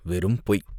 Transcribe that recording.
"வெறும் பொய்!